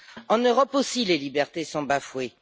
En Europe aussi, les libertés sont bafouées.